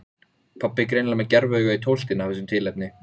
Uppstoppaðir fiskar, myndir af veiðiám og veiðimönnum héngu á veggjunum.